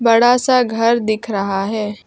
बड़ा सा घर दिख रहा है।